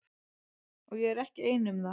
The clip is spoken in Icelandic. Og ég var ekki ein um það.